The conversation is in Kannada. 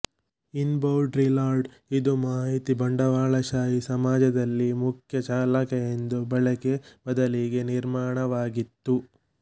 ಇನ್ಬೌಡ್ರಿಲಾರ್ಡ್ ಇದು ಮಾಹಿತಿ ಬಂಡವಾಳಶಾಹಿ ಸಮಾಜದಲ್ಲಿ ಮುಖ್ಯ ಚಾಲಕ ಎಂದು ಬಳಕೆ ಬದಲಿಗೆ ನಿರ್ಮಾಣವಾಗಿತ್ತು